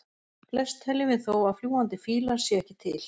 Flest teljum við þó að fljúgandi fílar séu ekki til.